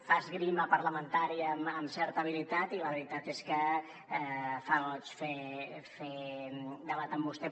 fa esgrima parlamentària amb certa habilitat i la veritat és que fa goig fer debat amb vostè